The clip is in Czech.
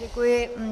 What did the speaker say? Děkuji.